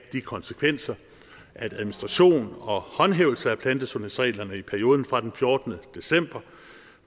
de konsekvenser at administration og håndhævelse af plantesundhedsreglerne i perioden fra den fjortende december